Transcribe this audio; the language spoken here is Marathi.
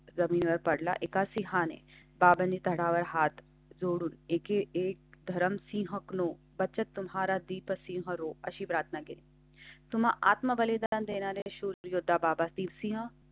जमिनीवर पडला. एका सिंहाने बावणी तळहात जोडून एक धरमसिंह नो बचत तुम्हाला दीपाशी अशी प्रार्थना केली. तुम्हां आत्मबलिदान देणार आहे शोधा बाबातील सिंह.